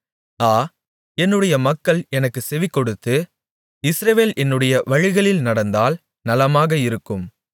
ஆ என்னுடைய மக்கள் எனக்குச் செவிகொடுத்து இஸ்ரவேல் என்னுடைய வழிகளில் நடந்தால் நலமாக இருக்கும்